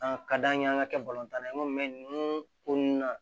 An ka d'an ye an ka kɛ tan na ye komi ko nun na